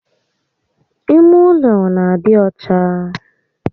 Ime ụlọ n'adị ọcha